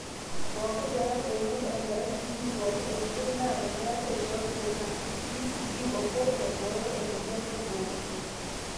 pooki pee eeku enoto enkerai clinic pooki esidai naa teneeku eishooki kuna; BCG obo naibooyo emweyian orgoo